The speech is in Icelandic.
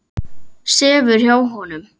Sefur hjá honum.